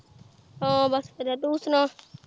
ਆ ਬਸ ਵਧੀਆ ਤੂੰ ਸੁਣਾ।